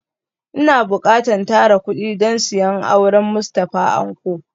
Ina bukatan tara kudi don siyan auren Mustafa Anko